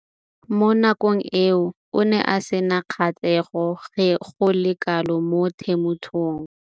Mo nakong eo o ne a sena kgatlhego go le kalo mo temothuong.